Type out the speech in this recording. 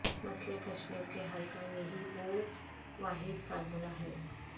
مسئلے کشمیر کے حل کا یہی وہ واحد فارمولہ ہے